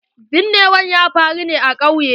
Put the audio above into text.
Binnewar ya faru ne a ƙauye.